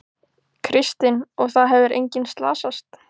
Kristinn: Og það hefur enginn slasast?